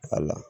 Ali